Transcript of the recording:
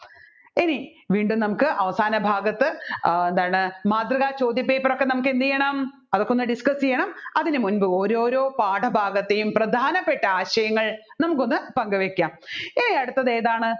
ഇനി വീണ്ടും നമ്മുക്ക് അവസാനഭാഗത്തു ആ എന്താണ് മാതൃകാചോദ്യ paper രൊക്കെ എന്ത് ചെയ്യണം അതൊക്കെ ഒന്ന് discuss ചെയ്യണം അതിന് മുൻപ് ഓരോരോ പാഠഭാഗത്തെയും പ്രധാനപ്പെട്ട ആശയങ്ങൾ നമുക്കൊന്ന് പങ്കുവെക്കാം ഇനി അടുത്തത് ഏതാണ്